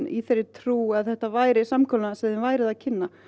í þeirri trú að þetta væri samkomulag sem við þið væruð að kynna